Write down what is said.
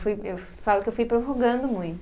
Eu fui, eu falo que eu fui prorrogando muito.